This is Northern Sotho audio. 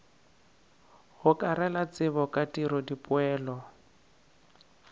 gokarela tsebo ka tiro dipoelo